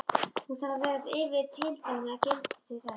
Hún þarf að vera yfir tilteknu gildi til þess.